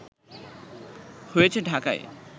হয়েছে ঢাকায়